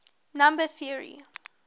number theory